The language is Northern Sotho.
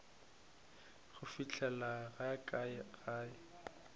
go fihleng ga ka gae